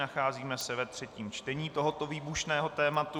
Nacházíme se ve třetím čtení tohoto výbušného tématu.